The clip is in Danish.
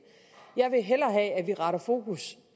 jeg vil hellere have at vi retter fokus